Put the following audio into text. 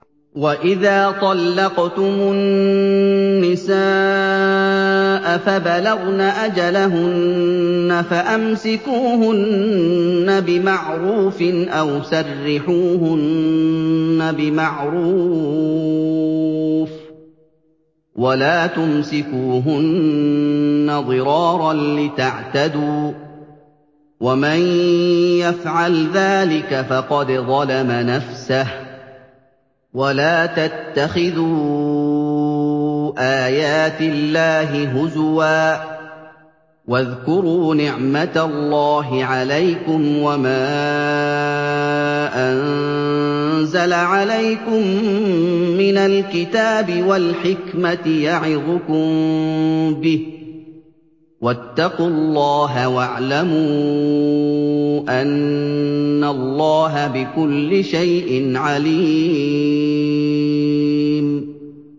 وَإِذَا طَلَّقْتُمُ النِّسَاءَ فَبَلَغْنَ أَجَلَهُنَّ فَأَمْسِكُوهُنَّ بِمَعْرُوفٍ أَوْ سَرِّحُوهُنَّ بِمَعْرُوفٍ ۚ وَلَا تُمْسِكُوهُنَّ ضِرَارًا لِّتَعْتَدُوا ۚ وَمَن يَفْعَلْ ذَٰلِكَ فَقَدْ ظَلَمَ نَفْسَهُ ۚ وَلَا تَتَّخِذُوا آيَاتِ اللَّهِ هُزُوًا ۚ وَاذْكُرُوا نِعْمَتَ اللَّهِ عَلَيْكُمْ وَمَا أَنزَلَ عَلَيْكُم مِّنَ الْكِتَابِ وَالْحِكْمَةِ يَعِظُكُم بِهِ ۚ وَاتَّقُوا اللَّهَ وَاعْلَمُوا أَنَّ اللَّهَ بِكُلِّ شَيْءٍ عَلِيمٌ